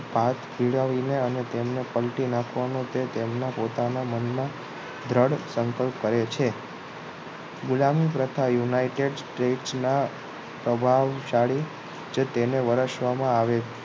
પાક ખેડાવીને અને તેમને પલટી નાખવાનો છે તેમના પોતાના મનમાં દ્રઢ સંકલ્પ કરે છે ગુલામી તથા united state ના સ્વભાવશાળી જ તેને વરસવામાં આવે